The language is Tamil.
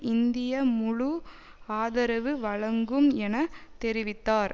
இந்தியா முழு ஆதரவு வழங்கும் என தெரிவித்தார்